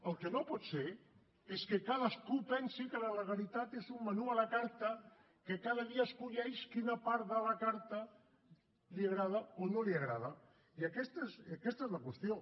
el que no pot ser és que cadascú pensi que la legalitat és un menú a la carta que cada dia escull quina part de la carta li agrada o no li agrada i aquesta és la qüestió